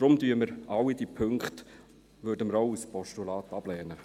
Deshalb werden wir alle Punkte auch als Postulat ablehnen.